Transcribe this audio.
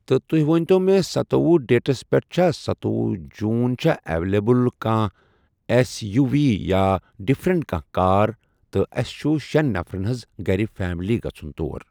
تہٕ تُہۍ وٕنتو مےٚ ستوٚوُہ ڈیٹَس پؠٹھ چھا ستوٚوُہ جون چھا اؠوَلیبٕل کانٛہہ اؠس یو وی یا ڈِفرَنٹ کانٛہہ کار تہٕ اَسہِ چھُ شؠن نَفرَن حَظ گرِ فیلمی گژھن تور۔